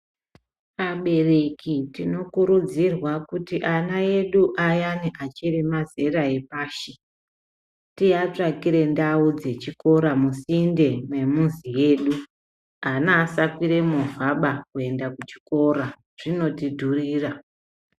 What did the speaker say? Abereki tinokururidzirwa kuti ana edu ayani achiri mazera epashi tiatsvakire ndau dzechikora musinde memizi yedu ana asakwire movha kuenda kuchikora zvinotidhurira.